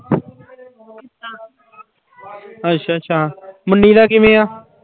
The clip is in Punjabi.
ਅੱਛਾ ਅੱਛਾ, ਮੁੰਨੀ ਦਾ ਕਿਵੇਂ ਆਂ?